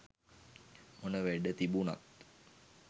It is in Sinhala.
මොන වැඩ තිබුනත්